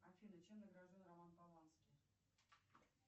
афина чем награжден роман полански